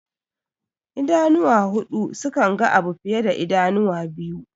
Idanuwa huɗu sukanga abu fiye da idanuwa biyu.